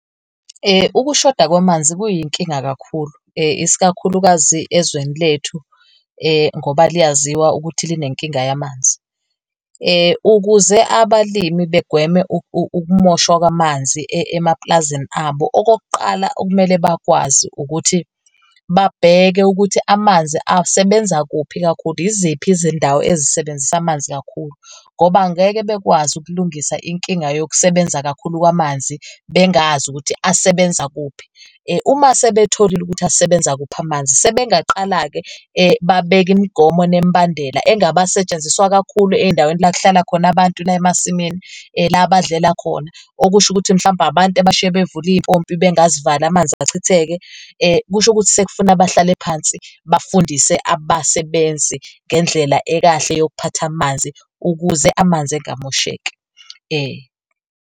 Ukushoda kwamanzi kuyinkinga kakhulu isikakhulukazi ezweni lethu ngoba liyaziwa ukuthi line nkinga yamanzi. Ukuze abalimi begweme ukumoshwa kwamanzi emapulazini abo, okokuqala okumele bakwazi ukuthi babheke ukuthi amanzi asebenza kuphi kakhulu. Yiziphi izindawo ezisebenzisa amanzi kakhulu? Ngoba ngeke bekwazi ukulungisa inkinga yokusebenza kakhulu kwamanzi bengazi ukuthi asebenza kuphi. Uma sebetholile ukuthi asebenza kuphi amanzi, sebengaqala-ke babeke imigomo nemibandela engabe asetshenziswa kakhulu endaweni la kuhlala khona abantu la emasimini la abadlela khona okusho ukuthi mhlawumpe abantu abashiye bevule iy'mpompi bengazivali amanzi achitheke . Kusho ukuthi sekufuna bahlale phansi, bafundise abasebenzi ngendlela ekahle yokuphatha amanzi ukuze amanzi engamosheki .